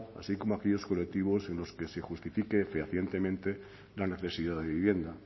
así como a aquellos colectivos en los que se justifique fehacientemente la necesidad de vivienda